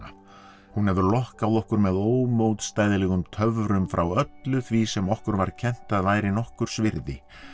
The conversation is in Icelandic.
hún hefur lokkað okkur með töfrum frá öllu því sem okkur var kennt að væri nokkurs virði